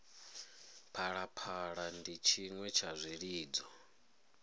phalaphala ndi tshiṅwe tsha zwilidzo